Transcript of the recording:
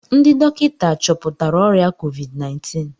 Ndị dọkịta chọpụtara ọrịa COVID-19